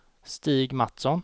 Stig Matsson